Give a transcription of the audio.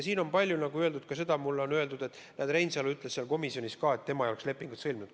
Siin on mulle palju öeldud seda, et Reinsalu ütles komisjonis, et tema ei oleks lepingut sõlminud.